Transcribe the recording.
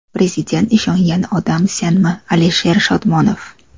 Prezident ishongan odam senmi, Alisher Shodmonov?